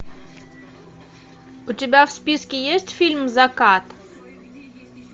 у тебя в списке есть фильм закат